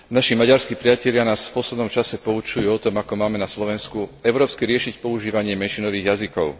Naši maďarskí priatelia nás v poslednom čase poučujú o tom, ako máme na Slovensku európsky riešiť otázku používania menšinových jazykov.